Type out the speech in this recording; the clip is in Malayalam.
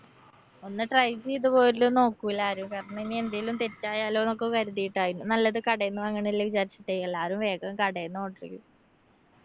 ഒന്ന് try ചെയ്ത് പോലും നോക്കൂല ആരും. കാരണം ഇനി എന്തേലും തെറ്റായാലൊന്നൊക്കെ കരുതിട്ടായിരിക്കും. നല്ലത് കടേന്ന് വാങ്ങണല്ലേ വിചാരിച്ചിട്ടെ എല്ലാരും വേഗം കടേന്ന് order ചെയ്യും.